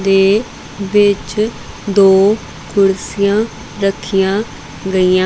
ਤੇ ਵਿੱਚ ਦੋ ਕੁਰਸੀਆਂ ਰੱਖੀਆਂ ਗਈਆਂ।